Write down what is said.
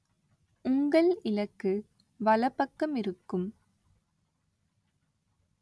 உங்கள் இலக்கு வலப்பக்கமிருக்கும்.